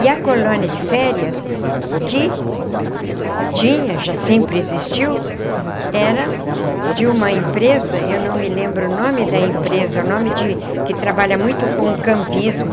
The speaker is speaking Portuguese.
E a colônia de férias que tinha, já sempre existiu, era de uma empresa, eu não me lembro o nome da empresa, é um nome de que trabalha muito com campismo,